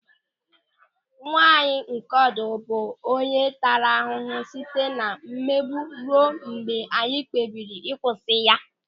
Nwa anyị nke ọdụ bụ onye taara ahụhụ site na mmegbu ruo mgbe anyị kpebiri kwụsị ya.